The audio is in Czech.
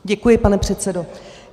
Děkuji, pane předsedo.